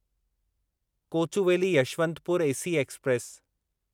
Kochuveli Yesvantpur AC express